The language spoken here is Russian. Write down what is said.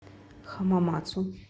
хамамацу